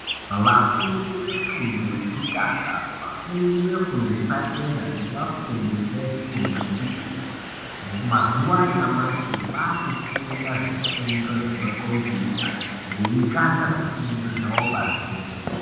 Vafundi vefundo yekutanga, vafundi vefundo yepadera nevafundi vefundo yechipiri, mazuva anyamashi vakufunda zvifundo zvema khombiyuta, veitsvaka zvifundo zvavo pamhepo.